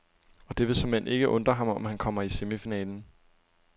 Og det vil såmænd ikke undre ham, om han kommer i semifinalen.